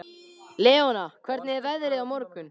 Leona, hvernig er veðrið á morgun?